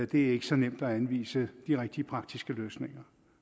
det er ikke så nemt at anvise de rigtige praktiske løsninger